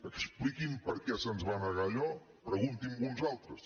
expliqui’m per què se’ns va negar allò pregunti·ho a uns altres